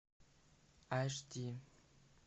аш ди